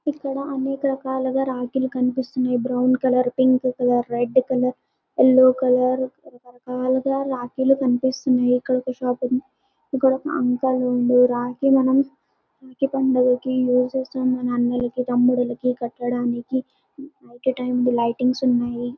ఇక్కడ అనేక రకాలుగా రాఖీ లు కనిపిస్తున్నాయి. Brown colour pink colour red colour yellow colour రక రకాలుగా రాఖి లు కనిపిస్తున్నాయి. ఇక్కడ ఒక షాప్ ఉంది. ఇక్కడ ఒక అంకుల్ ఉంది. రాఖీ మనం రాఖి పండగ రోజు మన అన్నలకి తమ్ములకి కట్టటానికి నైట్ టైం లైటింగ్స్ ఉన్నాయి.